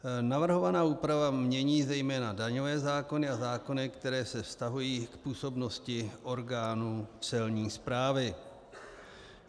Navrhovaná úprava mění zejména daňové zákony a zákony, které se vztahují k působnosti orgánů Celní správy.